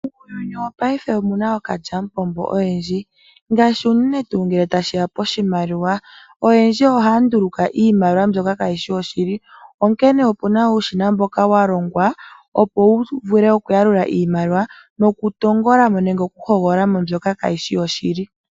Muuyuni wopaife omuna ookalyamupombo oyendji ngaashi unene tuu ngele tashiya poshimaliwa. Oyendji ohaya nduluka iimaliwa mbyoka kaayishi yoshili. Onkene opuna uushina mboka walongwa opo wuvule okuyalula iimaliwa noku tongolamo mbyoka kaayishi yoshili.